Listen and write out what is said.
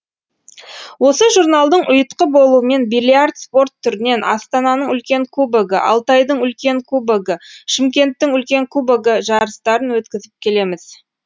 осы журналдың ұйытқы болуымен бильярд спорт түрінен астананың үлкен кубогі алтайдың үлкен кубогі шымкенттің үлкен кубогі жарыстарын өткізіп келеміз